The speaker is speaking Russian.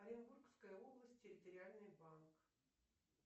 оренбургская область территориальный банк